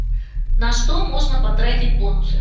на что можно потратить бонусы